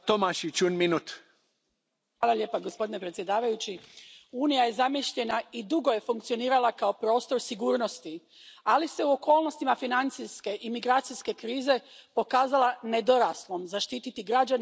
Gospodine predsjedavajući, Unija je zamišljena i dugo je funkcionirala kao prostor sigurnosti, ali se u okolnostima financijske i migracijske krize pokazala nedoraslom zaštititi građane od unutarnjih i vanjskih prijetnji.